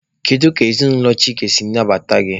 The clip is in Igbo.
Kedu ka ezinụlọ Chike si nabata gị?